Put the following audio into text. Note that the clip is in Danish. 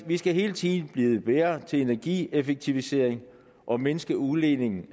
vi skal hele tiden blive bedre til energieffektivisering og mindske udledningen